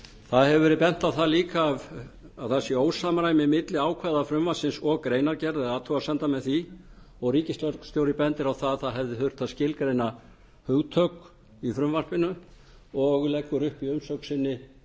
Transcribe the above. það hefur verið bent á það líka að það sé ósamræmi milli ákvæða frumvarpsins og greinargerðarinnar eða athugasemda með því og ríkislögreglustjóri bendir á að það hefði þurft að skilgreina hugtök í frumvarpinu og leggur upp í umsögn sinni